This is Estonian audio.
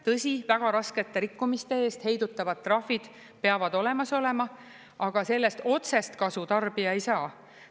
Tõsi, väga raskete rikkumiste eest heidutava trahvid peavad olemas olema, aga sellest otsest kasu tarbija ei saa.